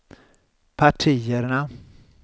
partierna